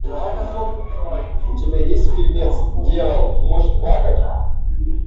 у тебя есть фильмец дьявол может плакать